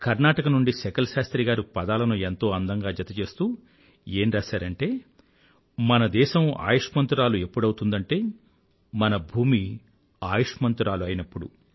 కర్ణాటక నుండి శకల్ శాస్త్రి గారు పదాలను ఎంతో అందంగా జతచేస్తూ ఏం రాసారంటే మన దేశం ఆయుష్మంతురాలు ఎప్పుడవుతుందంటే మన భూమి ఆయుష్మంతురాలు అయినప్పుడు